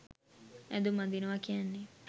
ඇඳුම් අඳිනවා කියන්නේ